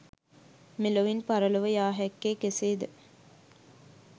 මෙලොවින් පරලොව යා හැක්කේ කෙසේද?